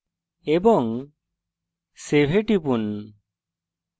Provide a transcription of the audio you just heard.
এবং save এ টিপুন